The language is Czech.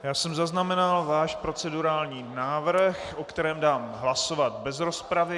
Já jsem zaznamenal váš procedurální návrh, o kterém dám hlasovat bez rozpravy.